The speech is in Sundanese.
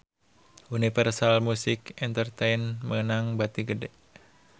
Universal Music Entertainment meunang bati gede